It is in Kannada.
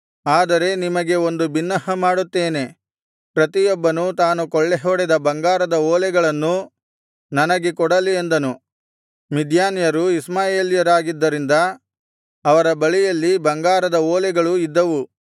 ಆದರೆ ನಿಮಗೆ ಒಂದು ಬಿನ್ನಹ ಮಾಡುತ್ತೇನೆ ಪ್ರತಿಯೊಬ್ಬನು ತಾನು ಕೊಳ್ಳೆಹೊಡೆದ ಬಂಗಾರದ ಓಲೆಗಳನ್ನು ನನಗೆ ಕೊಡಲಿ ಅಂದನು ಮಿದ್ಯಾನ್ಯರು ಇಷ್ಮಾಯೇಲ್ಯರಾಗಿದ್ದರಿಂದ ಅವರ ಬಳಿಯಲ್ಲಿ ಬಂಗಾರದ ಓಲೆಗಳು ಇದ್ದವು